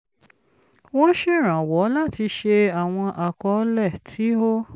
wọ́n ṣèrànwọ́ láti ṣe àwọn àkọọ́lẹ̀ tí ó